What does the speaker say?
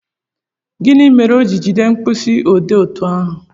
Gịnị mere o ji jide mkpịsị odee otú ahụ?